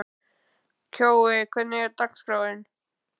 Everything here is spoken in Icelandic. Kjói, hvernig er dagskráin?